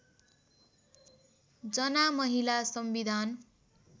जना महिला संविधान